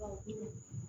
Awɔ